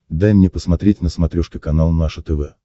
дай мне посмотреть на смотрешке канал наше тв